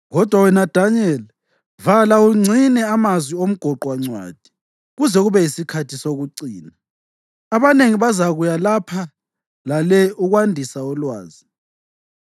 Kodwa wena Danyeli, vala ungcine amazwi omgoqwancwadi kuze kube yisikhathi sokucina. Abanengi bazakuya lapha lale ukwandisa ulwazi.”